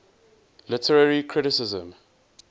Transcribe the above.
literary criticism